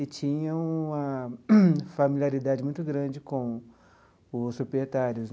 E tinham uma familiaridade muito grande com os proprietários.